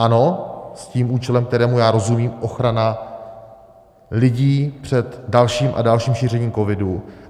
Ano, s tím účelem, kterému já rozumím, ochrana lidí před dalším a dalším šířením covidu.